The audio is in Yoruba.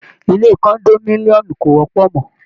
Ile condominium kò wọ́pọ̀ mọ́.